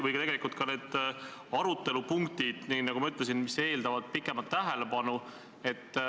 Või ka peale teisi päevakoprrapunkte, mis, nagu ma ütlesin, eeldavad pikemat tähelepanu.